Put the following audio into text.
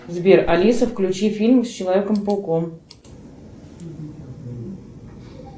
сбер алиса включи фильм с человеком пауком